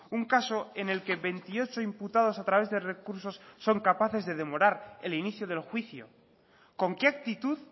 un caso en el que veintiocho imputados a través de recursos son capaces de demorar el inicio del juicio con qué actitud